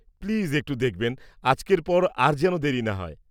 -Please একটু দেখবেন আজকের পর আর যেন দেরি না হয়।